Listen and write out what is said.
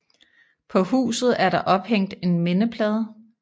På huset er der ophængt en mindeplade